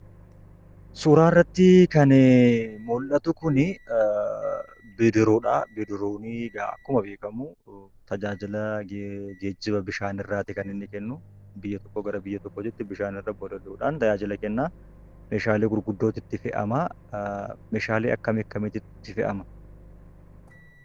Suuraa irratti kan mul'atu Kun bidiruudha. Bidiruuni kun akkuma beekkamu tajaajila geejiiba bishaan irraati kan inni kennu. Biyya tokkoon gara biyya tokkootti bishaan irra bolooli'uudhaan tajaajila kenna. Meeshaalee gurguddootu itti fe'ama. Meeshaalee akkam akkamiitu itti fe'ama?